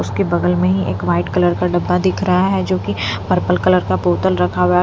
उसके बगल में ही एक वाइट कलर का डब्बा दिख रहा है जोकि पर्पल कलर का बोतल रखा हुआ है।